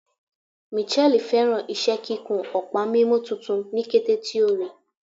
Mitchelle fẹràn iṣẹ kikun ọpa mimu tuntun ni kete ti o rii